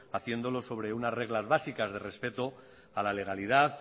haciéndolo sobre unas reglas básicas de respeto a la legalidad